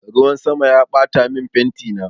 Ruwan sama ya ɓatamin fentina